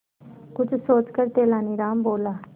कुछ सोचकर तेनालीराम बोला